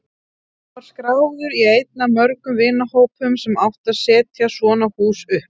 Ég var skráður í einn af mörgum vinnuhópum sem átti að setja svona hús upp.